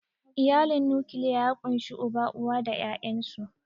Iyalin nukiliya ya ƙunshi Uba, uwa da ƴaƴansu.